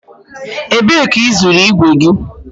Ebe ka ị zụrụ igwe gị?